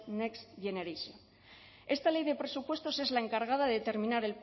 next generation esta ley de presupuestos es la encargada de determinar